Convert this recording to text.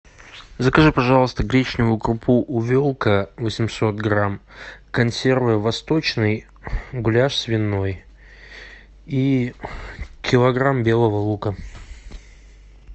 закажи пожалуйста гречневую крупу увелка восемьсот грамм консервы восточные гуляш свиной и килограмм белого лука